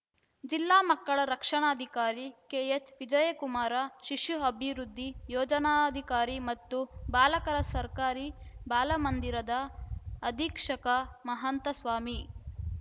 ಜಿಲ್ಲಾ ಮಕ್ಕಳ ರಕ್ಷಣಾಧಿಕಾರಿ ಕೆಎಚ್‌ವಿಜಯಕುಮಾರ ಶಿಶು ಅಭಿವೃದ್ಧಿ ಯೋಜನಾಧಿಕಾರಿ ಮತ್ತು ಬಾಲಕರ ಸರ್ಕಾರಿ ಬಾಲಮಂದಿರದ ಅಧೀಕ್ಷಕ ಮಹಾಂತ ಸ್ವಾಮಿ